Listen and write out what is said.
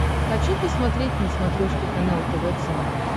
хочу посмотреть на смотрешке канал тв центр